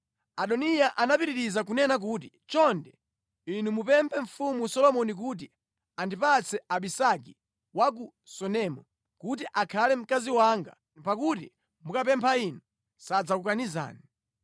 Adoniya anapitiriza kunena kuti, “Chonde, inu mupemphe mfumu Solomoni kuti andipatse Abisagi wa ku Sunemu kuti akhale mkazi wanga pakuti mukapempha inu sadzakukanizani.”